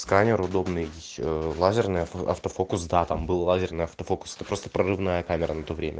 сканер удобный ещё лазерный авто автофокус да там был лазерный автофокус это просто прорывная камера на то время